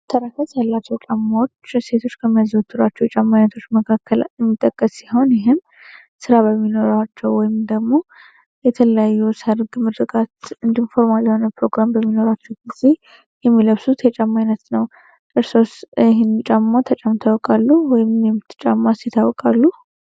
መተረከት እላተው ጫማዎች ሴቶች ከሚያዚህ ወትራቸው የጫማነቶች መካከል የሚጠቀስ ሲሁን ይህም ሥራ በሚኖራቸው ወይም ደግሞ የተለዩ ሰርግ ምድርጋት እንዲንፎርማል የሆነብ ፕሮግራም በሚኖራቸው ጊዜ የሚለብሱት የጫማይነት ነው እርስ ይህን ጨሞ ተጨምታወቃሉወይ የጫማ ሲታወቃሉ